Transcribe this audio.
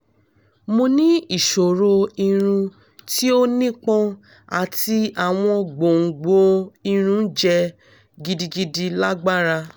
mo ni iṣoro irun ti o nipọn ati awọn gbongbo irun jẹ gidigidi lagbara